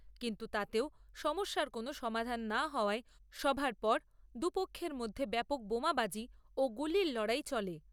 কিন্তু তাতেও সমস্যার কোনো সমাধান না হওয়ায় সভার পর, দু পক্ষের মধ্যে ব্যাপক বোমাবাজি ও গুলির লড়াই চলে।